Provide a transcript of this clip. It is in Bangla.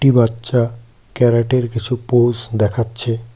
বাচ্চা ক্যারাটে -এর কিছু পোস দেখাচ্ছে।